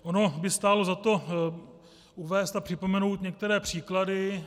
Ono by stálo za to uvést a připomenout některé příklady.